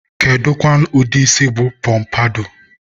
kedukwanu ụdị isi bụ pọmpadọ?